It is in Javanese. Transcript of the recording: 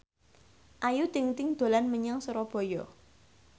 Ayu Ting ting dolan menyang Surabaya